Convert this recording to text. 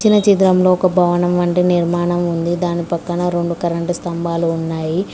ఒక భవనం అంటే నిర్మాణం ఉంది దాని పక్కన రెండు కరెంటు స్తంభాలు ఉన్నాయి.